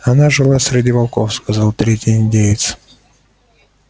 она жила среди волков сказал третий индеец